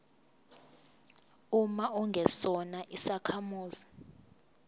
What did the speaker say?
uma ungesona isakhamuzi